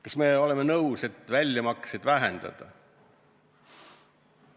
Kas me oleme nõus väljamakseid vähendama?